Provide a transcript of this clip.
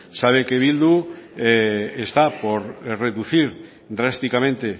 sabe que bildu está por reducir drásticamente